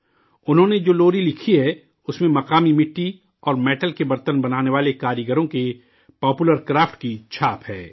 انہوں نے جو لوری لکھی ہے، اس میں مقامی مٹی اور میٹل کے برتن بنانے والے کاریگروں کے پاپولر کرافٹ کی چھاپ ہے